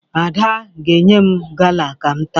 Ada ga-enye m gala ka m taa